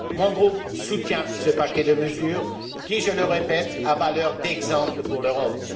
Mon groupe soutient ce paquet de mesures qui, je le répète, a valeur d'exemple pour l'Europe.